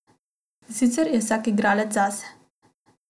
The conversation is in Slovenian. Sicer je vsak igralec zase.